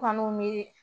Kɔni mi